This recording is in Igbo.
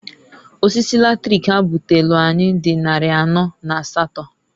Osisi latrik ha butelu anyị dị nnarị anọ na asatọọ.